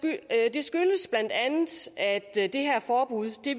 skyldes bla at det her forbud